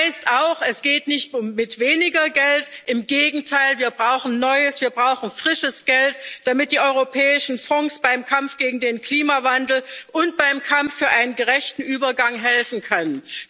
Das heißt auch Es geht nicht mit weniger Geld, im Gegenteil, wir brauchen neues, wir brauchen frisches Geld, damit die europäischen Fonds beim Kampf gegen den Klimawandel und beim Kampf für einen gerechten Übergang helfen können.